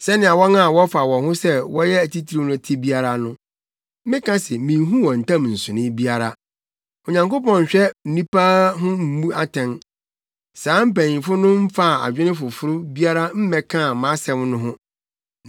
Sɛnea wɔn a wɔfa wɔn ho sɛ wɔyɛ atitiriw no te biara no, meka se minhu wɔn ntam nsonoe biara. Onyankopɔn nhwɛ nnipa ho mmu atɛn; saa mpanyimfo no mfaa adwene foforo biara mmɛkaa mʼasɛm no ho.